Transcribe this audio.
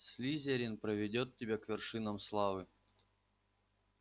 слизерин проведёт тебя к вершинам славы